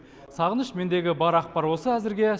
сағыныш мендегі бар ақпар осы әзірге